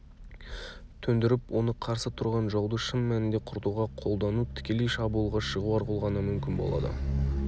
төндіріп оны қарсы тұрған жауды шын мәнінде құртуға қолдану тікелей шабуылға шығу арқылы ғана мүмкін болады